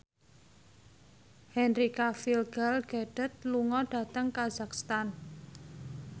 Henry Cavill Gal Gadot lunga dhateng kazakhstan